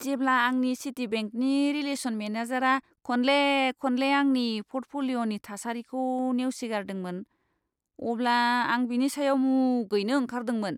जेब्ला आंनि सिटिबेंकनि रिलेसन मेनेजारा खनले खनले आंनि पर्टफ'लिय'नि थासारिखौ नेवसिगारदोंमोन, अब्ला आं बिनि सायाव मुगैनो ओंखारदोंमोन।